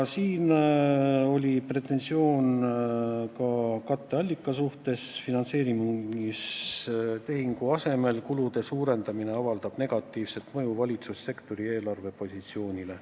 Ja siin oli pretensioon ka katteallika suhtes: finantseerimistehingu asemel kulude suurendamine avaldab negatiivset mõju valitsussektori eelarvepositsioonile.